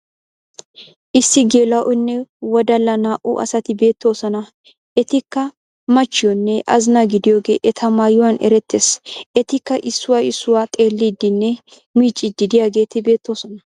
Issi geela'onne wodalla naa"u asati beettoosona. Etikka machchiyonne azinaa gidiyogee eta maayuwan erettes. Etikka issoy issuwa xeelliiddinne miicciiddi diyageeti beettoosona.